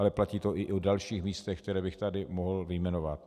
Ale platí to i o dalších místech, která bych tady mohl vyjmenovat.